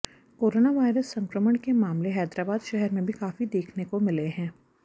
corona virus संक्रमण के मामले हैदराबाद शहर में भी काफी देखने को मिले हैं